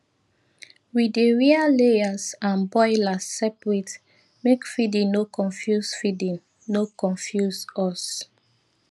we dey rear layers and broilers separate make feeding no confuse feeding no confuse us